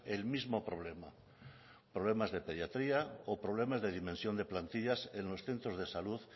el mismo problema problemas de pediatría o problemas de dimensión de plantillas en los centros de salud